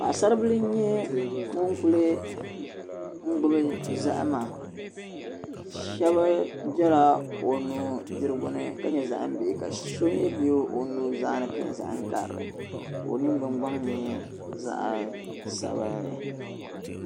Paɣisaribila n-nyɛ ŋun kuli gbubi zahim shɛba bela o nudirigu ni ka nyɛ zahim bihi ka so mi be o nuzaa ni ka nyɛ zahim karili ka o ningbun’gbaŋ zaɣ’sabinli.